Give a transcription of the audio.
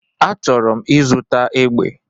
Achọrọ m ịzụta egbe